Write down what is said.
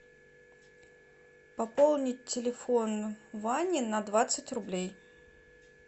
пополнить телефон вани на двадцать рублей